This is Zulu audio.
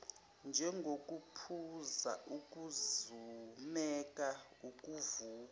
njengokuphuza ukuzumeka ukuvuka